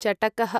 चटकः